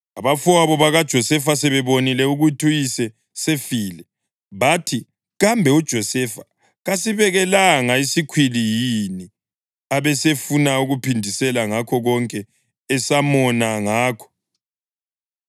Abafowabo bakaJosefa sebebonile ukuthi uyise sefile, bathi, “Kambe uJosefa kasibekelanga isikhwili yini abesefuna ukuphindisela ngakho konke esamona ngakho?”